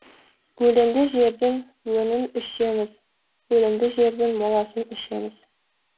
өлеңді жердің өңін ішеміз өлімді жердің моласын ішеміз